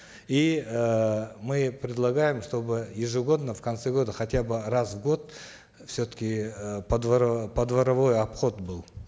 и эээ мы предлагаем чтобы ежегодно в конце года хотя бы раз в год все таки э подворовой обход был